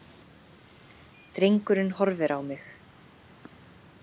Drengurinn horfir á mig.